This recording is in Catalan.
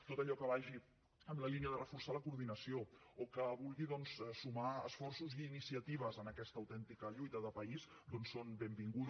tot allò que vagi en la línia de reforçar la coordinació o que vulgui sumar esforços i iniciatives en aquesta autèntica lluita de país és benvingut